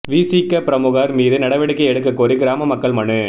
விசிக பிரமுகா் மீது நடவடிக்கை எடுக்கக் கோரி கிராம மக்கள் மனு